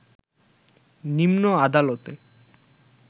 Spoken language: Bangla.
নিম্ন আদালতে